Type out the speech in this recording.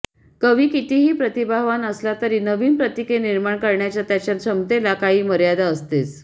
कवी कितीही प्रतिभावान असला तरी नवीन प्रतीके निर्माण करण्याच्या त्याच्या क्षमतेला काही मर्यादा असतेच